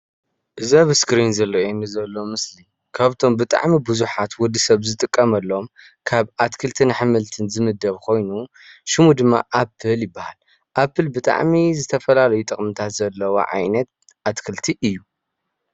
እዚ ኣብ እስክሪን ዝረአየኒ ዘሎ ምስሊ ካብብቶም ብጣዕሚ ብዝሓቱ ወዲ ሰብ ዝጥቀሎም ካብ ኣትክልትን ኣሕምልትን ዝምደብ ኮይኑ ሽሙ ድማ ኣፕል ይባሃል፡፡ ኣንፕል ብጣዕሚ ዝተፈላለዩ ጥቅሚታት ዘለዎ ዓይነት ኣትክልቲ እዩ፡፡